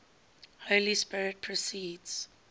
holy spirit proceeds